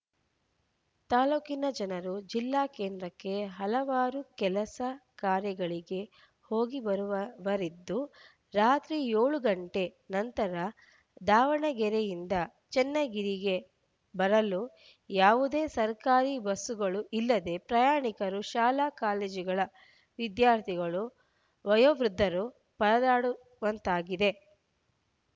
ತಾಲೂಕಿನ ಜನರು ಜಿಲ್ಲಾ ಕೇಂದ್ರಕ್ಕೆ ಹಲವಾರು ಕೆಲಸಕಾರ್ಯಗಳಿಗೆ ಹೋಗಿ ಬರುವವರಿದ್ದು ರಾತ್ರಿ ಏಳು ಗಂಟೆ ನಂತರ ದಾವಣಗೆರೆಯಿಂದ ಚನ್ನಗಿರಿಗೆ ಬರಲು ಯಾವುದೇ ಸರ್ಕಾರಿ ಬಸ್‌ಗಳು ಇಲ್ಲದೆ ಪ್ರಯಾಣಿಕರು ಶಾಲಾಕಾಲೇಜುಗಳ ವಿದ್ಯಾರ್ಥಿಗಳು ವಯೋವೃದ್ದರು ಪರದಾಡುವಂತಾಗಿದೆ